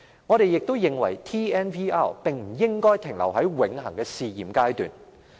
我們認為 TNVR 不應永遠停留在試驗階段。